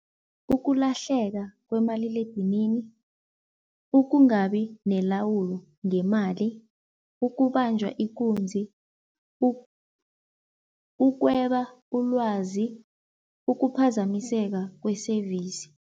Ukulahleka kwemaliledinini, ukungabi nelawulo ngemali, ukubanjwa ikunzi, ukweba ulwazi, ukuphazamiseka kwe-service.